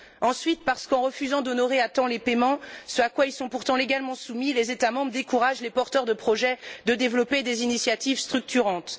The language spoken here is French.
Ensuite, parce qu'en refusant d'honorer à temps les paiements ce à quoi ils sont pourtant légalement soumis les États membres découragent les porteurs de projets de développer des initiatives structurantes.